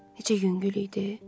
Necə yüngül idi.